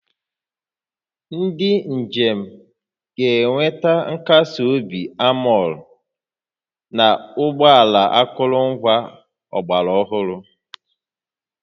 Ndị njem ga-enweta nkasi obi anmol na ụgbọ ala akụrụngwa ọgbara ọhụrụ